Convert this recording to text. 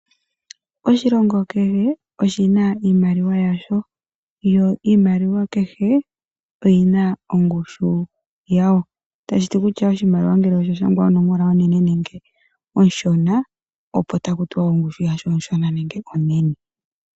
Oshilongo kehe oshina iimaliwa yasho, yo iimaliwa kehe oyina ongushu yawo. Itashiti kutya oshimaliwa ngele osha shangwa onomola onene nenge onshona, opo taku tiwa kutya ongushu yasho onshona nenge onene.